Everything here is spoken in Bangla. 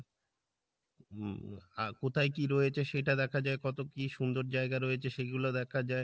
হম আহ কোথায় কী রয়েছে সেটা দেখা যাই, কত কী সুন্দর জায়গা রয়েছে সেগুলো দেখা যাই,